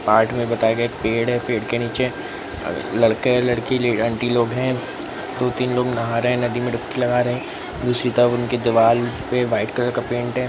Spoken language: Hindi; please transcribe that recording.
में बताये गये पेड़ है पेड़ के नीचे अ लड़के लड़की अंटी लोग है दो तीन लोग नहा रहे हैं नदी में डुबकी लगा रहे हैं | दूसरी तरफ उनके दिवार पे वाइट कलर का पेंट है।